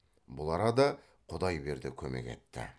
бұл арада құдайберді көмек етті